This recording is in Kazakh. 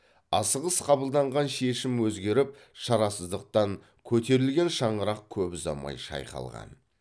асығыс қабылданған шешім өзгеріп шарасыздықтан көтерілген шаңырақ көп ұзамай шайқалған